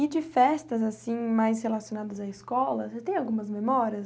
E de festas assim mais relacionadas à escola, você tem algumas memórias?